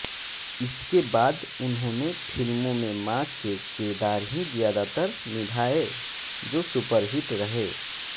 इसके बाद उन्होंने फिल्मों में मां के किरदार ही ज्यादातर निभाए जो सुपरहिट रहे